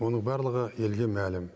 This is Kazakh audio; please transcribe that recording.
оның барлығы елге мәлім